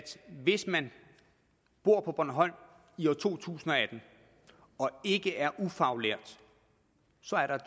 hvis man bor på bornholm i to tusind og atten og ikke er ufaglært